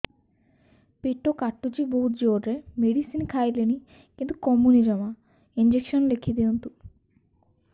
ପେଟ କାଟୁଛି ବହୁତ ଜୋରରେ ମେଡିସିନ ଖାଇଲିଣି କିନ୍ତୁ କମୁନି ଜମା ଇଂଜେକସନ ଲେଖିଦିଅନ୍ତୁ